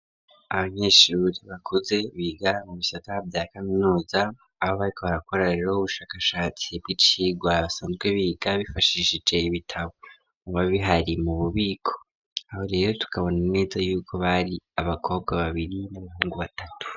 Abanyeshuri bakuze biga mu bisata vya kaminuza, abo barikobarakora rero ubushakashatsi bw'icigwa basanzwe biga bifashishije ibitabo bibabihari mu bubiko, aho rero tukabona neza yuko bari abakobwa babiri n'abahungu batatu.